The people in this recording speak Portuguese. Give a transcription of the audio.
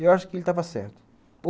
Eu acho que ele estava certo.